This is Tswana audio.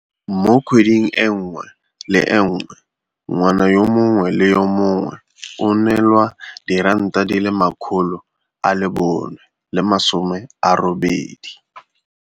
Mo kgweding e nngwe le e nngwe ngwana yo mongwe le yo mongwe o neelwa R480.